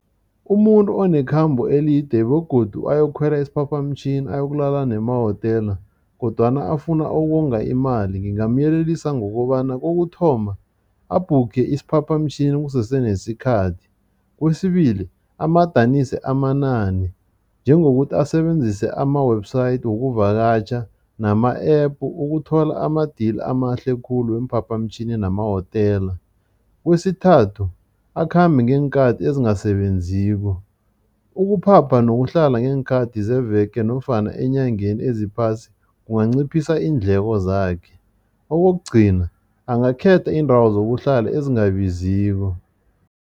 Umuntu onekhambo elide begodu ayokukhwela isiphaphamtjhini, ayokulala nemahotela kodwana afuna ukonga imali, ngingamyelelisa ngokobana kokuthoma, abhukhe isiphaphamtjhini kusese nesikhathi. Kwesibili, amadanise amanani njengokuthi asebenzise ama-website wokuvakatjha nama-App ukuthola ama-deal amahle khulu weemphaphamtjhini namahotela. Kwesithathu, akhambe ngeenkhathi ezingasebenziko. Ukuphapha nokuhlala ngeenkhathi zeveke nofana enyangeni eziphasi kunganciphisa iindleko zakhe. Okokugcina, angakhetha iindawo zokuhlala ezingabiziko.